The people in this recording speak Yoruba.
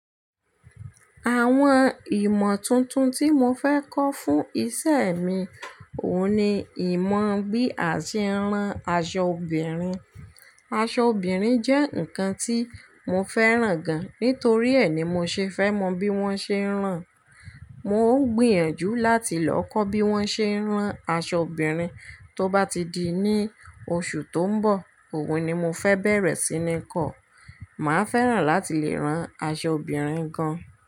Àwọn ìmọ̀ tuntun tí mo fẹ́ kọ́ fún isẹ́ mi, òun ni ìmọ̀ bí a ṣe ń rán aṣọ obìnrin. Aṣọ obìnrin jẹ́ nǹkan tí mo fẹ́ràn gan, nítorí ẹ ní mo ṣe fẹ́ mọ bí wọ́n ṣe ń rán. Mo ń gbìyànjú láti lọ kọ́ bí wọ́n ṣe ń rán aṣọ obìnrin, tó bá ti di ní oṣù tó ń bọ̀, òwe ni mo fẹ bẹ̀rẹ̀ sí ní kọ́. Màá fẹ́ràn láti lè rán aṣọ obìnrin gan.